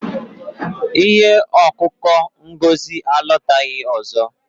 Ihe ọko ọkụ Ngozi alọtaghị ọzọ.